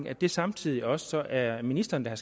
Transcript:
at det samtidig også er ministeren der